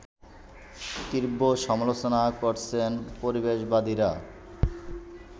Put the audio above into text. তীব্র সমালোচনা করছেন পরিবেশবাদীরা